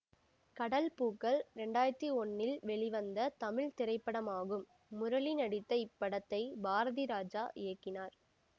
கடல் பூக்கள் இரண்டு ஆயிரத்தி ஒன்னில் வெளிவந்த தமிழ் திரைப்படமாகும் முரளிநடித்த இப்படத்தை பாரதிராஜா இயக்கினார்